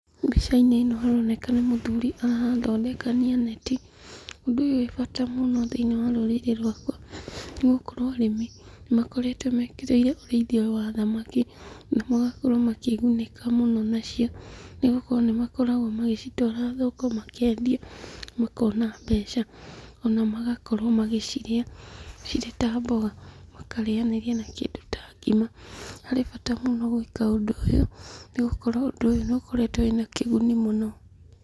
Mbicainĩ ĩno haroneka nĩ mũthuri arathondekania neti. Ũndũ ũyũ wĩ bata mũno thĩini rũrĩrĩ rwakwa nĩ gũkorwo arĩmi nĩmakoretwo mekĩrĩire ũrĩithia ũyũ wa thamaki, na magakorwo makĩgunĩka mũno nacio, nĩ gũkorwo nĩmakoragwo magĩcitwara thoko makendia makona mbeca, ona magakorwo magĩcirĩa cirĩ ta mboga, makarĩanĩria na kĩndũ ta ngima. Harĩ bata mũno gwĩka ũndũ ta ũyũ nĩgũkorwo ũndũ ũyũ nĩukoretwo wĩna kĩguni mũno.